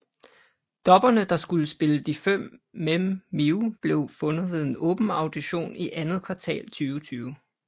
Dubberne der skulle spille de fem Mem Mew blev fundet ved en åben audition i andet kvartal 2020